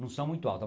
Não são muito altas.